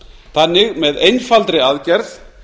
þannig með einfaldri aðgerð